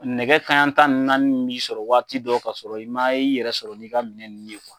Nɛgɛ kanɲɛ tan ni naani b'i sɔrɔ waati dɔw ka sɔrɔ i ma, i yɛrɛ sɔrɔ n'i ka minɛn nunnu ye